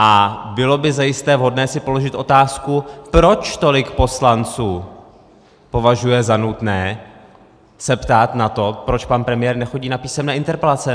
A bylo by zajisté vhodné si položit otázku, proč tolik poslanců považuje za nutné se ptát na to, proč pan premiér nechodí na písemné interpelace.